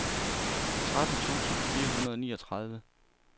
tretten tusind fire hundrede og niogtredive